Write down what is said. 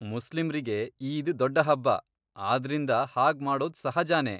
ಮುಸ್ಲಿಮ್ರಿಗೆ ಈದ್ ದೊಡ್ಡ್ ಹಬ್ಬ, ಆದ್ರಿಂದ ಹಾಗ್ ಮಾಡೋದ್ ಸಹಜನೇ.